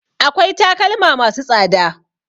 Akwai takalma ma su tsada